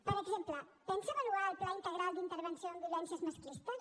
per exemple pensa avaluar el pla integral d’intervenció en violències masclistes